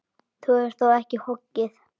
Þú hefur þó ekki hoggið?